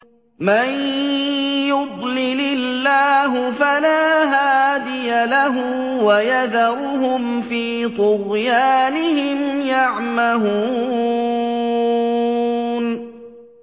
مَن يُضْلِلِ اللَّهُ فَلَا هَادِيَ لَهُ ۚ وَيَذَرُهُمْ فِي طُغْيَانِهِمْ يَعْمَهُونَ